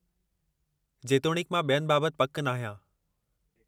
जेतोणीकि, मां ॿियनि बाबत पकि नाहियां।